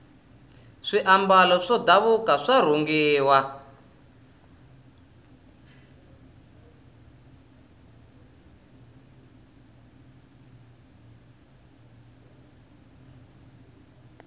swiambalo swa ndhavuko swa rhungiwa